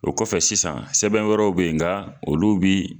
O kɔfɛ sisan sɛbɛn wɛrɛw bɛ ye nga olu bi